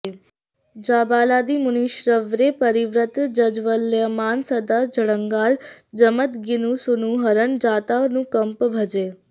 जाबालादिमुनीश्वरैः परिवृतं जाज्ज्वल्यमानं सदा जङ्घालं जमदग्निसूनुहरणं जातानुकम्पं भजे